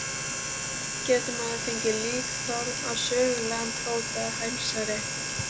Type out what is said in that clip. Getur maður fengið líkþorn á sögulegan fót eða hælsæri?